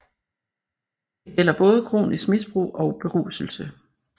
Det gælder både kronisk misbrug og beruselse